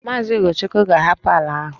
Maazị Ugochukwu ga-ahapụ ala ahụ